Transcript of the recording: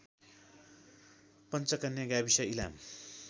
पञ्चकन्या गाविस इलाम